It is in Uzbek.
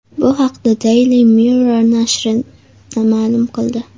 Bu haqda Daily Mirror nashri ma’lum qil di .